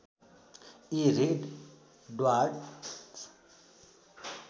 यी red dwarf